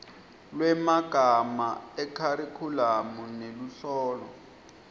lwemagama ekharikhulamu neluhlolo